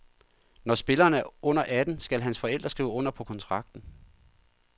Når spilleren er under atten, skal hans forældre skrive under på kontrakten.